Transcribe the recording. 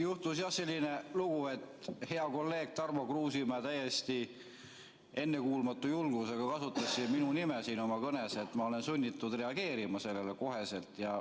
Juhtus jah selline lugu, et hea kolleeg Tarmo Kruusimäe täiesti ennekuulmatu julgusega kasutas minu nime siin oma kõnes ja ma olen sunnitud reageerima sellele kohe.